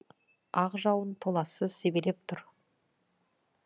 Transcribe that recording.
ақ жауын толассыз себелеп тұр